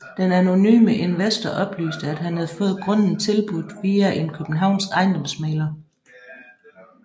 Den anonyme investor oplyste at han havde fået grunden tilbudt via en københavnsk ejendomsmægler